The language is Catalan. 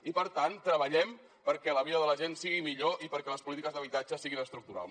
i per tant treballem perquè la vida de la gent sigui millor i perquè les polítiques d’habitatge siguin estructurals